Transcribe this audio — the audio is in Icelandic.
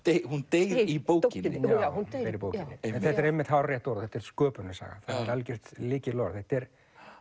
hún deyr í bókinni já hún deyr í bókinni en þetta er einmitt hárrétt orðað þetta er sköpunarsaga það er algert lykilorð þetta er